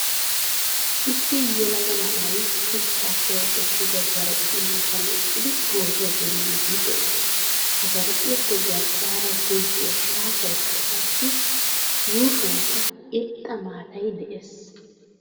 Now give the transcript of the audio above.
Issi yelaga na'aay shuchchappe oosettida zarphphiyaa matan eqqidi pootuwaa denddidi de'ees. Ha zarphphiyappe garssaara gogiyaa shaafaykka, qassi yuushshuwankka irxxa maataay de'ees.